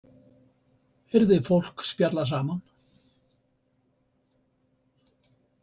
Heyrði fólk spjalla saman.